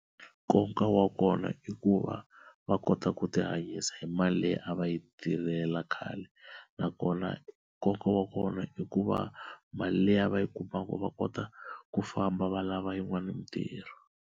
Nkoka wa kona i ku va va kota ku tihanyisa hi mali leyi a va yi tirhela khale na kona nkoka wa kona i ku va mali leyi va yi kumaka va kota ku famba va lava yin'wana mitirho.